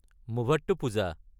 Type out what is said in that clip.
Muvattupuzha